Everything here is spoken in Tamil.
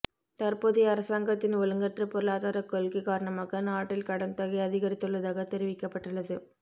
தற்போதைய அரசாங்கத்தின் ஒழுங்கற்ற பொருளாதாரக் கொள்கை காரணமாக நாட்டில் கடன் தொகை அதிகரித்துள்ளதாக தெரிவிக்கப்பட்டுள்ளது